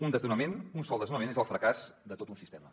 un desnonament un sol desnonament és el fracàs de tot un sistema